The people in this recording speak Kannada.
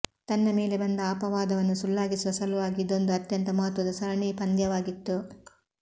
ತನ್ನ ಮೇಲೆ ಬಂದ ಅಪವಾದವನ್ನು ಸುಳ್ಳಾಗಿಸುವ ಸಲುವಾಗಿ ಇದೊಂದು ಅತ್ಯಂತ ಮಹತ್ವದ ಸರಣಿ ಪಂದ್ಯವಾಗಿತ್ತು